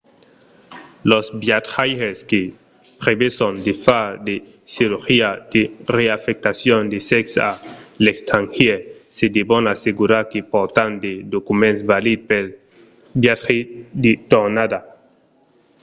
los viatjaires que preveson de far de cirurgia de reafectacion de sèxe a l’estrangièr se devon assegurar que pòrtan de documents valids pel viatge de tornada